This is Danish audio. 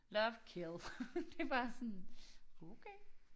Love kill det bare sådan okay